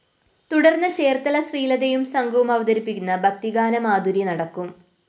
തുടര്‍ന്ന് ചേര്‍ത്തല ശ്രീലതയും സംഘവും അവതരിപ്പിക്കുന്ന ഭക്തിഗാനമാധുരി നടക്കും